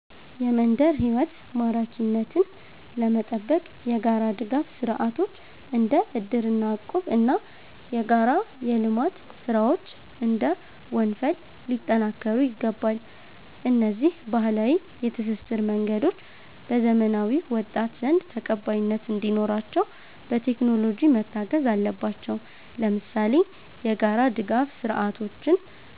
የመንደር ሕይወት ማራኪነትን ለመጠበቅ የጋራ ድጋፍ ሥርዓቶች (እንደ እድርና እቁብ) እና የጋራ የልማት ሥራዎች (እንደ ወንፈል) ሊጠናከሩ ይገባል። እነዚህ ባህላዊ የትስስር መንገዶች በዘመናዊው ወጣት ዘንድ ተቀባይነት እንዲኖራቸው፣ በቴክኖሎጂ መታገዝ አለባቸው። ለምሳሌ፣ የጋራ ድጋፍ ሥርዓቶችን